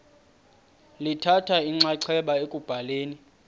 lithatha inxaxheba ekubhaleni